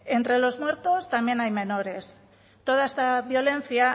entre los muertos también hay menores toda esta violencia